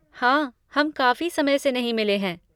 हाँ, हम काफ़ी समय से नहीं मिले हैं।